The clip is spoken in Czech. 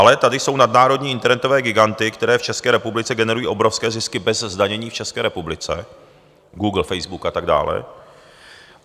Ale tady jsou nadnárodní internetové giganty, které v České republice generují obrovské zisky bez zdanění v České republice - Google, Facebook a tak dále.